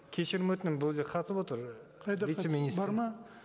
кешірім өтінемін бұл жерде қатысып отыр қайда вице министр бар ма